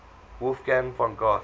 wolfgang von goethe